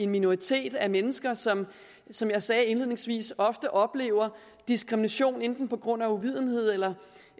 minoritet af mennesker som som jeg sagde indledningsvis ofte oplever diskrimination enten på grund af uvidenhed eller